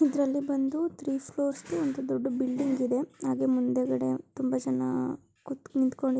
ಇದ್ರಲ್ಲಿ ಬಂದು three floors ದು ಒಂದು ದೊಡ್ಡ ಬಿಲ್ಡಿಂಗ್ ಇದೆ ಹಾಗೆ ಮುಂದೆ ಗಡೆ ತುಂಬಾ ಜನ ಕುತ್ಕೊಂ ನಿಂತ್ಕೊಂ--